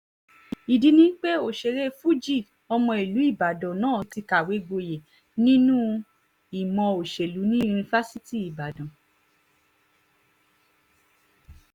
ìdí ni pé òṣèré fuji ọmọ ìlú ìbàdàn náà ti kàwé gboyè nínú ìmọ̀ òṣèlú ní yunifásitì ìbàdàn